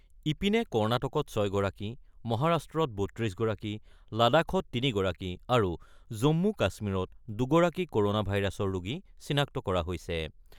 ইপিনে কৰ্ণাটকত ৬ গৰাকী, মহাৰাষ্ট্ৰত ৩২ গৰাকী, লাডাখত তগৰাকী আৰু জম্মু-কাশ্মীৰত দুগৰাকী ক'ৰনা ভাইৰাছৰ ৰোগী চিনাক্ত কৰা হৈছে।